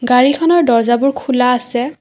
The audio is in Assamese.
গাড়ীখনৰ দৰ্জাবোৰ খোলা আছে।